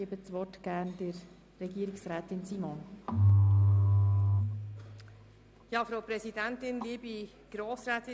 Deshalb erteile ich der Finanzdirektorin das Wort.